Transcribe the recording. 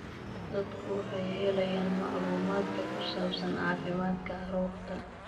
Dadku waxay helayaan macluumaadka ku saabsan caafimaadka carruurta.